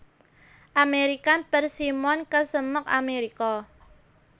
American Persimmon kesemek Amérika